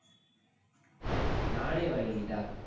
நானே வாங்கிக்கிட்டா.